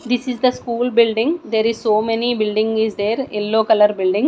this is the school building there is so many building is there yellow colour building.